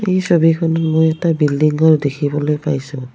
এই ছবিখনত মই এটা বিল্ডিং ঘৰ দেখিবলৈ পাইছোঁ।